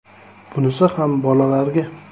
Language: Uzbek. “Bunisi ham bolalarga”.